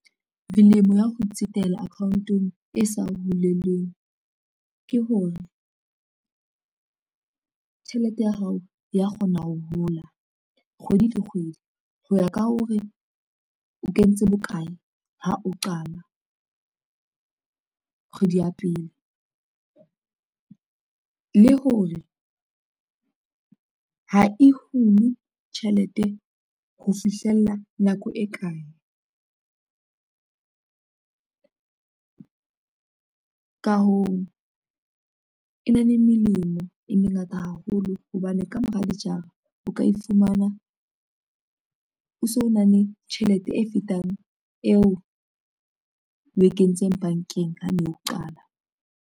Melemo ya ho tsetela account-ong e sa huleleng, ke hore tjhelete ya hao ya kgona ho hola kgwedi le kgwedi, ho ya ka hore o kentse bokae ha o qala, kgwedi ya pele. Le hore ha e hule tjhelete ho fihlella nako e kae, ka hoo, e na le melemo e mengata haholo hobane ka mora o ka e fumana o so na le tjhelete e fetang eo we kentseng bankeng, ha o no qala.